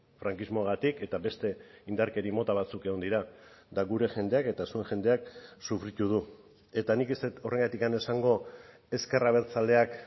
frankismoagatik eta beste indarkeria mota batzuk egon dira eta gure jendeak eta zuen jendeak sufritu du eta nik ez dut horregatik esango ezker abertzaleak